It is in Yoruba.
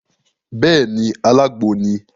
Béèni, alágbo ni